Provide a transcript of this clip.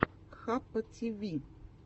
хаппативи